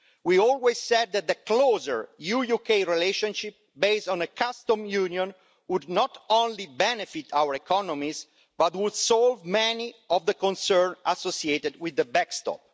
We always said that a closer EU UK relationship based on a customs union would not only benefit our economies, but would also solve many of the concerns associated with the backstop.